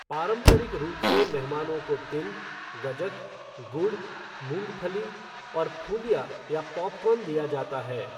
पारंपरिक रूप से मेहमानों को तिल, गज्जक, गुड़, मूंगफली और फूलिया या पॉपकॉर्न दिया जाता है।